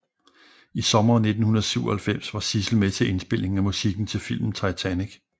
I Sommeren 1997 var Sissel med til indspillingen af musikken til filmen Titanic